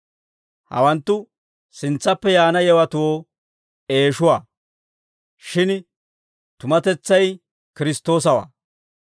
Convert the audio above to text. Hawanttu sintsaappe yaana yewatoo eeshuwaa; shin tumatetsay Kiristtoosawaa.